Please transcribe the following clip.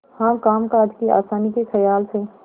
हाँ कामकाज की आसानी के खयाल से